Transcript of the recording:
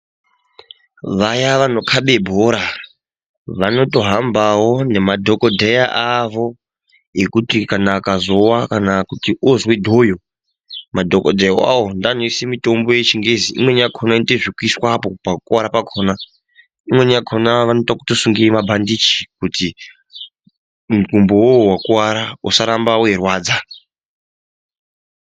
Vaya vanokabe bhora vanotohambawo nemadhokodheya avo ekuti kana akazowa kana kuti ozwe dhoyo, madhokodheya awawo ndiwo anoise mitombo yeChiNgezi, imweni yakona inoitwe zvekuiswapo pakuwara pakona. Imweni yakona vanoita wekutosungire mabhandichi kuti mukumbo wowo wakuvara usaramba weirwadza.